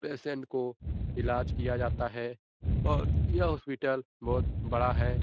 Patient को इलाज किया जाता है और यह हॉस्पिटल बहुत बड़ा है।